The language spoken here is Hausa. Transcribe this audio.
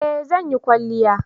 eh zan yi kwalliya